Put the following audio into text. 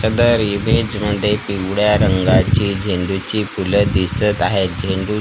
सदर इमेज मध्ये पिवळ्या रंगाची झेंडूची फुलं दिसत आहेत झेंडू --